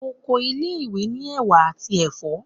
Oko ile-iwe ni ewà ati ẹfọ